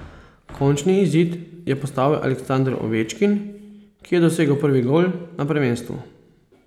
Končni izid je postavil Aleksander Ovečkin, ki je dosegel prvi gol na prvenstvu.